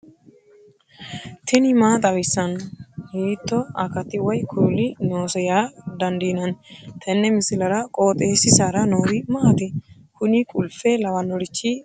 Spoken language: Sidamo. tini maa xawissanno ? hiitto akati woy kuuli noose yaa dandiinanni tenne misilera? qooxeessisera noori maati? kuni qulfe lawannorichi maati maa gargarannoikka